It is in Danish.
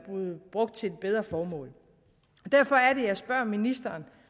brugt til et bedre formål derfor er det jeg spørger ministeren